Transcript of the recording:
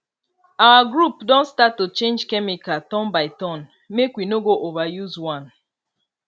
our group don start to change chemical turn by turn make we no go overuse one